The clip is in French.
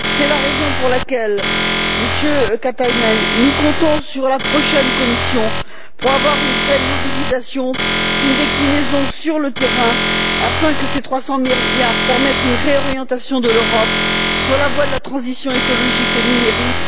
C'est la raison pour laquelle, Monsieur Katainen, nous comptons sur la prochaine Commission pour avoir une vraie mobilisation, une déclinaison sur le terrain afin que ces 300 milliards permettent une réorientation de l'Europe sur la voie de la transition écologique et numérique.